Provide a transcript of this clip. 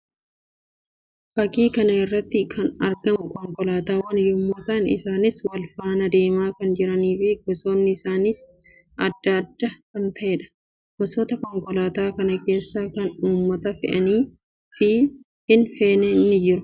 Fakkii kana irratti kan argamu konkolaatawwan yammuu ta'an; isaannis wal faanaa deemaa kan jiranii fi gosoonni isaaniis addaa adda kan ta'ee dha. Gosoota konkolaataa kana keessas kan uummata fe'anii fi hin feene ni jiru.